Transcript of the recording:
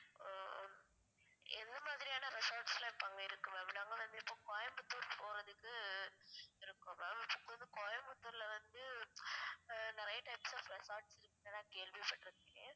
ஆஹ் எந்த மாதிரியான resorts லாம் இப்போ அங்க இருக்கு ma'am? நாங்க வந்து இப்போ கோயம்புத்தூர் போறதுக்கு இருக்கோம் ma'am இப்ப வந்து கோயம்புத்தூர்ல வந்து ஆஹ் நெறைய types of resorts இருக்குறதா கேள்வி பட்ருக்கேன்